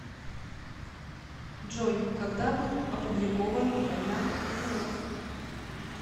джой когда был опубликован война миров